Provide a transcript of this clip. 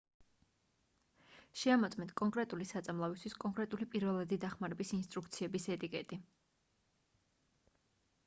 შეამოწმეთ კონკრეტული საწამლავისთვის კონკრეტული პირველადი დახმარების ინსტრუქციების ეტიკეტი